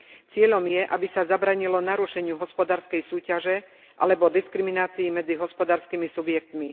Cieľom je, aby sa zabránilo narušeniu hospodárskej súťaže alebo diskriminácii medzi hospodárskymi subjektmi.